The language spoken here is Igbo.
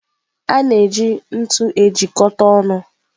A na-eji ntu ejikọta ọnụ.